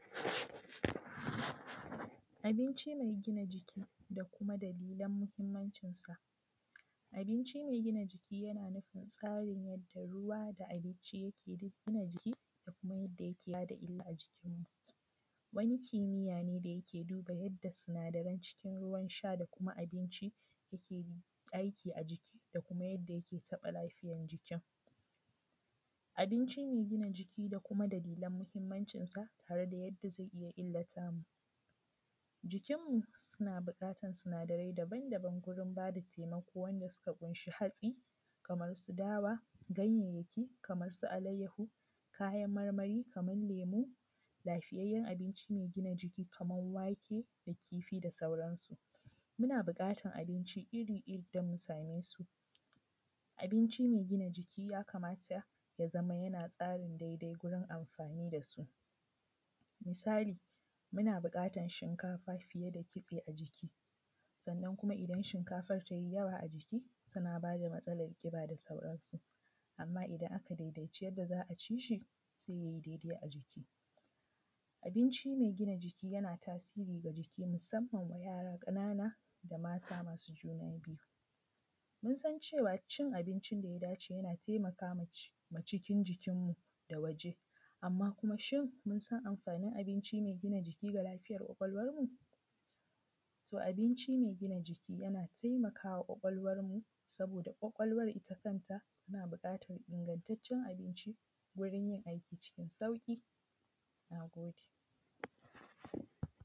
Abinci mai gina jiki da kuma dalilan muhimmancinsa. Abinci mai gina jiki yana nufin tsarin yadda ruwa da abinci yake duk gina jiki da kuma yadda yake kula da illa a jikinmu. Wani kimiyya ne da yake duba yadda sinadaran cikin ruwan sha da kuma abinci yake aiki a jiki da kuma yadda yake taɓa lafiyan jikin. Abinci mai gina jiki da kuma dalilan muhimmancinsa, tare da yadda zai iya illata mu. Jikinmu suna buƙatar sinadarai daban-daban gurin ba da taimako wanda suka ƙunshi hatsi, kamar su dawa; ganyayyaki kamar su alaiyyaho; kayan marmari kamar lemo; lafiyayyen abinci mai gina jiki kamar wake da kifi da sauransu. Muna buƙatar abinci iri-iri idan mun same su. Abinci mai gina jiki ya kamata ya zama yana tsarin daidai gurin amfani da su. Misali, muna buƙatar shinkafa fiye da kitse a jiki; sannan kuma idan shinkafar ta yi yawa a jiki, tana ba da matsalar ƙiba da sauransu. Amma idan aka daidaici yadda za a ci shi, sai ya yi daidai a jiki. Abinci mai gina jiki yana tasiri ga jiki musamman wa yara ƙanana, da mata masu juna biyu. Mun san cewa cin abincin da ya dace yana taimaka ma cikin jikinmu da waje, amma kuma shin mun san amfanin abinci mai gina jiki ga lafiyar ƙwaƙwalwarmu? To abinci mai gina jiki yana taimaka wa ƙwaƙwalwarmu, saboda ƙwaƙwalwar ita kanta, tana buƙatar ingantaccen abinci wurin yin aiki cikin sauƙi. Na gode.